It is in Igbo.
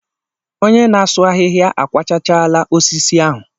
Onye na-asụ ahịhịa akwachachaala osisi ahụ.